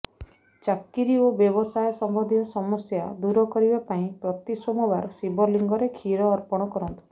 ଚାକିରି ଓ ବ୍ୟବସାୟ ସମ୍ବନ୍ଧୀୟ ସମସ୍ୟା ଦୂର କରିବା ପାଇଁ ପ୍ରତି ସୋମବାର ଶିବଲିଙ୍ଗରେ କ୍ଷୀର ଅର୍ପଣ କରନ୍ତୁ